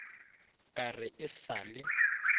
ka re e sa le